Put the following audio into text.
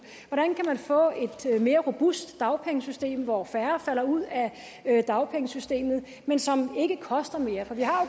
hvordan kan man få et mere robust dagpengesystem hvor færre falder ud af dagpengesystemet men som ikke koster mere for vi har